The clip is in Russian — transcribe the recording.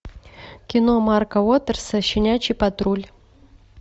кино марка уотерса щенячий патруль